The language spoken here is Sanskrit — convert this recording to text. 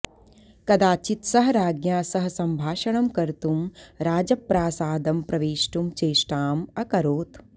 कदाचित् सः राज्ञा सह सम्भाषणं कर्तुं राजप्रासादं प्रवेष्टुं चेष्टाम् अकरोत्